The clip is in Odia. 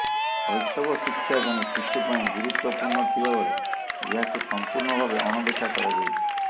ଶ୘ଶବ ଶିକ୍ଷା ଜଣେ ଶିଶୁ ପାଇଁ ଗୁରୁତ୍ବପୂର୍ଣ୍ଣ ଥିବା ବେଳେ ଏହାକୁ ସଂପୂର୍ଣ୍ଣ ଭାବେ ଅଣଦେଖା କରାଯାଇଛି